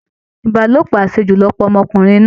Ìbálòpọ̀ àṣejù ló pa ọmọkùnrin náà